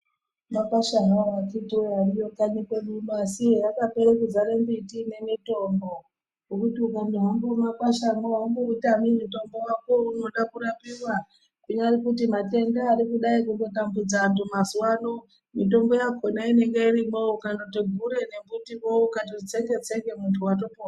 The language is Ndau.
Makwasha hawo akhiti woye ariyo kanyi kwedu uno, asi akapere kuzara mimbiti ine mitombo, yekuti ukanyahamba mumakwashamwo aumboutami mutombo wako weunoda kurapiwa, kunyari kuti matenda ari kudai kutotambudza anthu mazuwa ano, mitombo yakhona inenge irimwoo ukandoti gure nembiti wo , ukatoti tsenge-tsenge watopona.